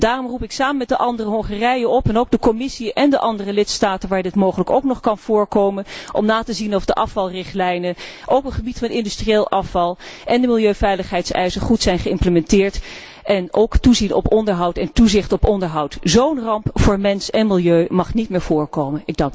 afval. Daarom roep ik, samen met de anderen, Hongarije op, en ook de Commissie en de andere lidstaten waar dit mogelijk ook nog kan voorkomen, om na te gaan of de afvalrichtlijnen, ook op het gebied van industrieel afval, en de milieuveiligheidseisen goed zijn geïmplementeerd. En ook toezien op onderhoud en toezicht op onderhoud. Zo'n ramp voor mens en milieu mag niet meer voorkomen.